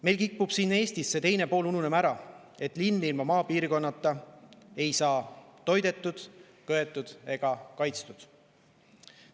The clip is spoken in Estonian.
Meil kipub siin Eestis ära ununema see teine pool, et linn ilma maapiirkonnata ei saa toidetud, köetud ega kaitstud.